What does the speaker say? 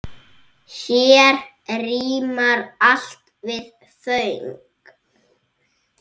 Hér rímar allt við föng.